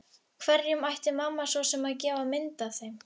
Hverjum ætti mamma svo sem að gefa mynd af þeim?